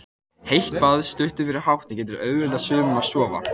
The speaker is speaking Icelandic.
Heitt bað stuttu fyrir háttinn getur auðveldað sumum að sofna.